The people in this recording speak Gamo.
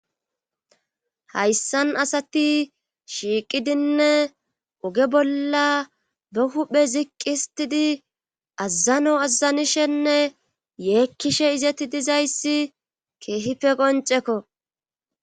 Hayssan asati shiiqidinne oge bolla be huhphe ziqqhistidi azzano azanishenne yeekkishe izeti dizayssi keehife qoncekko